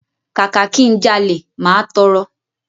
Kàkà ki n jalè, máa tọrọ.